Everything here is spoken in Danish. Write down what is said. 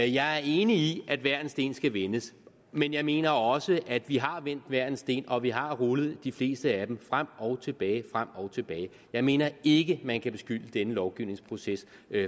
jeg er enig i at hver en sten skal vendes men jeg mener også at vi har vendt hver en sten og at vi har rullet de fleste af dem frem og tilbage frem og tilbage jeg mener ikke man kan beskylde denne lovgivningsproces